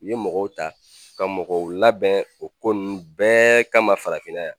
U ye mɔgɔw ta ka mɔgɔw labɛn o ko ninnu bɛɛ kama farafinna yan.